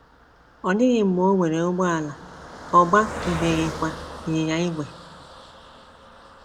Ọ dịghị mgbe o nwere ụgbọala; ọ gbatụbeghịkwa ịnyịnya ígwè.